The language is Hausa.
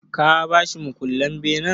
Ka ba shi mukullen benen?